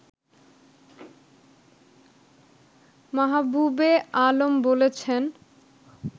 মাহবুবে আলম বলেছেন